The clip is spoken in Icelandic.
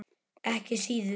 Ekki síður.